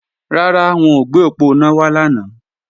Rárá, wọn ò gbé òponá wá lánàá